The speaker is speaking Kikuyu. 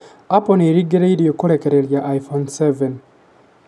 Apple nĩ ĩrĩgĩrĩrwo kũrekereria iphone 7